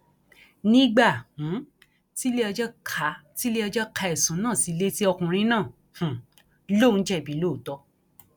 nígbà um tiléẹjọ ka tiléẹjọ ka ẹsùn náà sí i létí ọkùnrin náà um lòún jẹbi lóòótọ